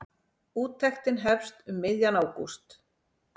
Úttektin hefst um miðjan ágúst.